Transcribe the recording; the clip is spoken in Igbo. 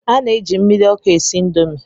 A na-eji mmiri ọkụ esi Indomi